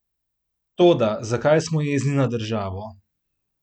Toda zakaj smo jezni na državo?